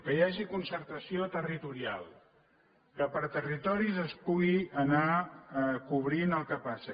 que hi hagi concertació territorial que per territoris es pugui anar cobrint el que passa